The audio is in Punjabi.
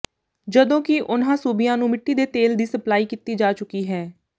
ਜਦੋਂ ਕਿ ਉਨ੍ਹਾਂ ਸੂਬਿਆਂ ਨੂੰ ਮਿੱਟੀ ਦੇ ਤੇਲ ਦੀ ਸਪਲਾਈ ਕੀਤੀ ਜਾ ਚੁਕੀ ਹੈ